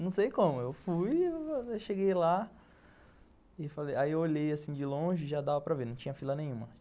Não sei como, eu fui, cheguei lá e falei, aí eu olhei assim de longe e já dava para ver, não tinha fila nenhuma.